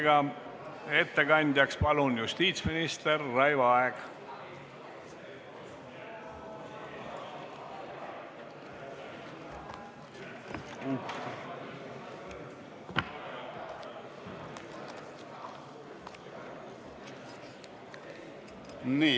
Palun, ettekandja justiitsminister Raivo Aeg!